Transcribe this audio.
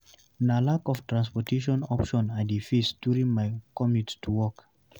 Na lack of public transportation options I dey face during my commute to work.